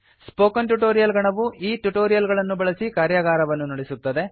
spoken tutorial ಗಣವು ಈ tutorial ಗಳನ್ನು ಬಳಸಿ ಕಾರ್ಯಾಗಾರವನ್ನು ನಡೆಸುತ್ತದೆ